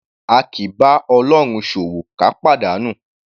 A kì í bá Ọlọ́run ṣòwò ká pàdánù. /